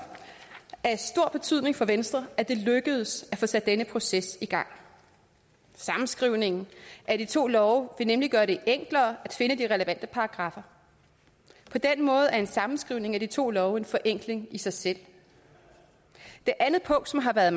af stor betydning for venstre at det lykkedes at få sat denne proces i gang sammenskrivningen af de to love vil nemlig gøre det enklere at finde de relevante paragraffer på den måde er en sammenskrivning af de to love en forenkling i sig selv det andet punkt som har været